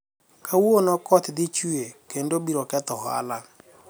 kawuono koth dhi chuwe kendo biro ketho ohala